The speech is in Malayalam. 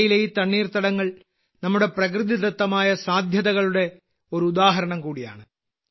ഇന്ത്യയിലെ ഈ തണ്ണീർത്തടങ്ങൾ നമ്മുടെ പ്രകൃതിദത്തമായ സാധ്യതകളുടെ ഒരു ഉദാഹരണം കൂടിയാണ്